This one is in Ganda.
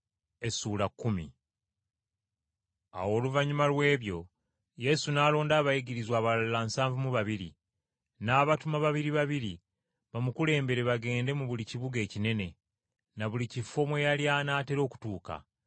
Awo oluvannyuma lw’ebyo Yesu n’alonda abayigirizwa abalala nsanvu mu babiri , n’abatuma babiri babiri bamukulembere bagende mu buli kibuga ekinene, na buli kifo mwe yali anaatera okutuuka.